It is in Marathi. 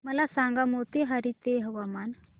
मला सांगा मोतीहारी चे हवामान